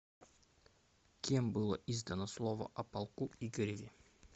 кем было издано слово о полку игореве